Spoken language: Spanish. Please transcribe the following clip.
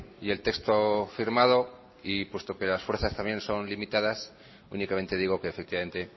y el texto firmado y puesto que las fuerzas también son limitadas únicamente digo que efectivamente